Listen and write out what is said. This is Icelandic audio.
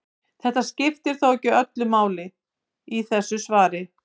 Þetta skiptir þó ekki öllu máli í þessu svari.